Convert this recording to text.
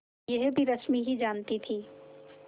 यह भी रश्मि ही जानती थी